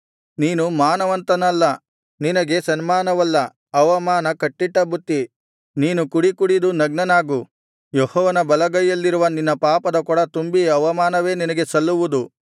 ನೀನು ಮಾನವಂತನಲ್ಲ ನಿನಗೆ ಸನ್ಮಾನವಲ್ಲಾ ಅವಮಾನ ಕಟ್ಟಿಟ್ಟ ಬುತ್ತಿ ನೀನು ಕುಡಿ ಕುಡಿದು ನಗ್ನನಾಗು ಯೆಹೋವನ ಬಲಗೈಯಲ್ಲಿರುವ ನಿನ್ನ ಪಾಪದ ಕೊಡ ತುಂಬಿ ಅವಮಾನವೇ ನಿನಗೆ ಸಲ್ಲುವುದು